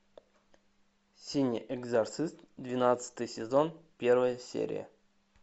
синий экзорцист двенадцатый сезон первая серия